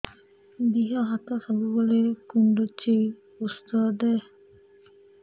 ଦିହ ହାତ ସବୁବେଳେ କୁଣ୍ଡୁଚି ଉଷ୍ଧ ଦେ